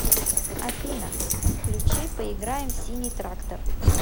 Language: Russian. афина включи поиграем в синий трактор